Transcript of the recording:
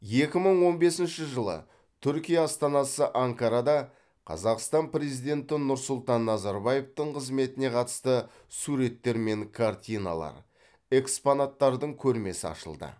екі мың он бесінші жылы түркия астанасы анкарада қазақстан президенті нұрсұлтан назарбаевтың қызметіне қатысты суреттер мен картиналар экспонаттардың көрмесі ашылды